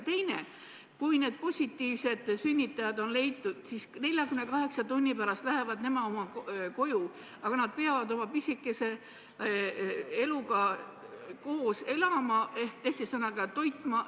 Teiseks, kui need viiruspositiivsed sünnitajad on leitud, siis 48 tunni pärast lähevad nad koju, aga nad peavad selle pisikese eluga koos elama, teiste sõnadega, teda toitma.